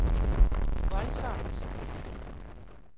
voldsomt